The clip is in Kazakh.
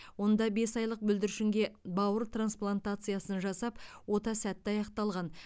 онда бес айлық бүлдіршінге бауыр трансплатациясын жасап ота сәтті аяқталған